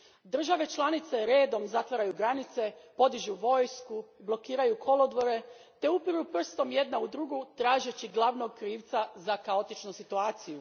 Države članice redom zatvaraju granice, podižu vojsku, blokiraju kolodvore te upiru prstom jedna u drugu tražeći glavnog krivca za kaotičnu situaciju.